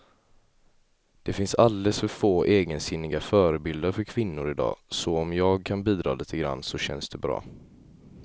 Det finns alldeles för få egensinniga förebilder för kvinnor i dag, så om jag kan bidra lite grann så känns det bra.